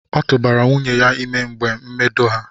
ọtụbara nwunye ya ime na mgbe mbedo ya.